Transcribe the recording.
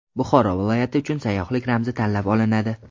Buxoro viloyati uchun sayyohlik ramzi tanlab olinadi.